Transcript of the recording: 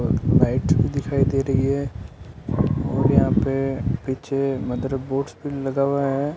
और लाइट दिखाई दे रही है और यहां पे पीछे मदरबोर्डस भी लगा हुआ है।